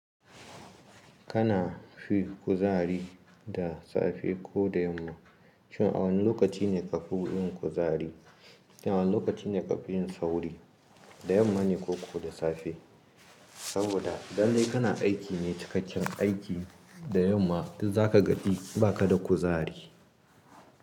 Kana fi kuzari da safe ko da yamma? Shin a wane lokaci ne ka fi yin kuzari? Shin a wane lokaci ne ka fi yin sauri? Da yamma ne ko ko da safe? Saboda lallai kana aiki ne cikakken aiki da yamma, to za ka gaji ba ka da kuzari.